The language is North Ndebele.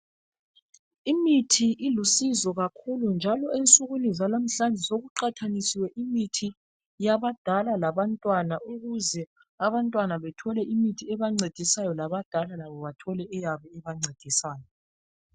Imithi ilusizo kakhulu njalo ensukwini zalamhlanje sekuqathanisiwe imithi yabadala labantwana ukuze abantwana bethole imithi ebancedisayo labadala bethole eyabo ebancedisayo